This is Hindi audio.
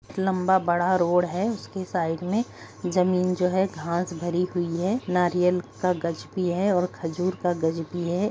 लंबा बड़ा रोड है जिसके साइड में जमीन जो है घास से भरी हुई है नारियल का गाज भी है और खजूर का गाज भी है |